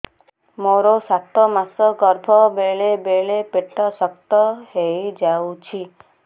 ମୋର ସାତ ମାସ ଗର୍ଭ ବେଳେ ବେଳେ ପେଟ ଶକ୍ତ ହେଇଯାଉଛି